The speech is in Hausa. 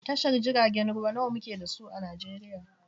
Tashar jiragen ruwa nawa muke da su a Najeriya?